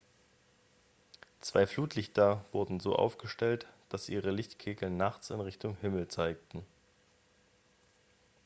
zwei flutlichter wurden so aufgestellt dass ihre lichtkegel nachts in richtung himmel zeigten